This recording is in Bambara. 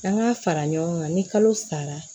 An ka fara ɲɔgɔn kan ni kalo sara